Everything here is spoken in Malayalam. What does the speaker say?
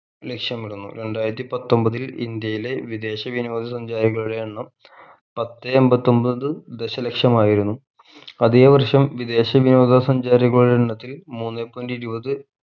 ലക്ഷ്യമിടുന്നു രണ്ടായിരത്തി പത്തൊമ്പതിൽ ഇന്ത്യയിലെ വിദേശ വിനോദ സഞ്ചാരികളുടെ എണ്ണം പത്തേ അമ്പത്തൊമ്പത് ദശലക്ഷമായിരുന്നു അതെ വർഷം വിദേശ വിനോദ സഞ്ചാരികളുടെ എണ്ണത്തിൽ മൂന്നേ point ഇരുപത്